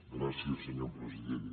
gràcies senyor president